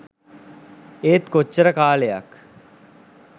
ඒත් කොච්චර කාලයක්